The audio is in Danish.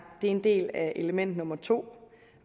det er en del af element nummer to